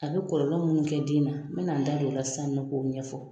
A bɛ kɔlɔlɔ minnu kɛ den na n bɛ na n da don o la sisan nɔ k'o ɲɛfɔ.